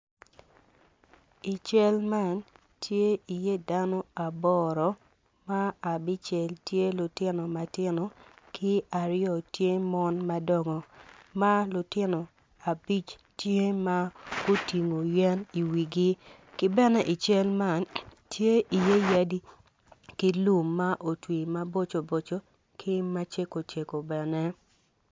I cal man tye iye dano aboro ma abicel tye lutino ma tino ki aryo tye mon madongo ma lutino abic tye ma gutingo yen iwigi ki bene i cal man tye iye yadi ki lum ma otwi maboco boco ki macego cego bene.